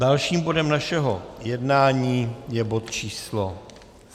Dalším bodem našeho jednání je bod číslo